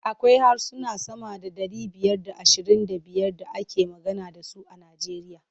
Akwai harsuna sama da ɗari biyar da ashirin da biyar da ake magana da su a Nijeriya.